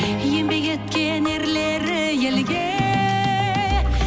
еңбек еткен ерлері елге